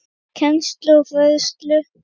Kennslu og fræðslu